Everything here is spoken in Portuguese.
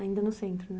Ainda no centro, né?